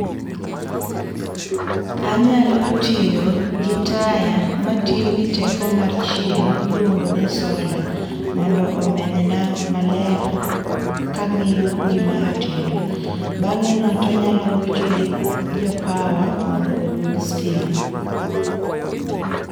Anyalo tiyo gi taya matiyo gi teko mar chieng' miluongo ni solar mondo omenyna maler kang'iyo gima atedo. Bang'eno tanyalo gocho ne jo power[cs[ mondo oduok stima.